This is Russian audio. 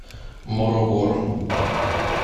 морогоро